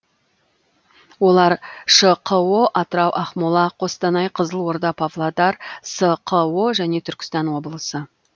олар шқо атырау ақмола қостанай қызылорда павлодар сқо және түркістан облысы